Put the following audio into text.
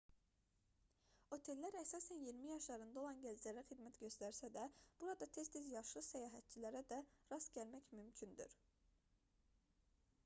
otellər əsasən iyirmi yaşlarında olan gənclərə xidmət göstərsə də burada tez-tez yaşlı səyahətçilərə də rast gəlmək mümkündür